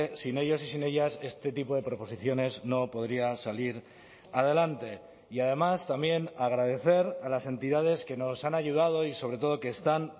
sin ellos y sin ellas este tipo de proposiciones no podría salir adelante y además también agradecer a las entidades que nos han ayudado y sobre todo que están